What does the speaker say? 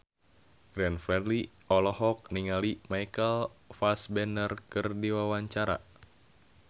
Glenn Fredly olohok ningali Michael Fassbender keur diwawancara